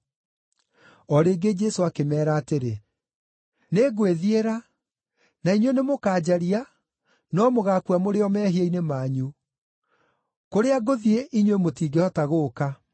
O rĩngĩ Jesũ akĩmeera atĩrĩ, “Nĩngwĩthiĩra, na inyuĩ nĩmũkanjaria no mũgaakua mũrĩ o mehia-inĩ manyu. Kũrĩa ngũthiĩ inyuĩ mũtingĩhota gũũka.”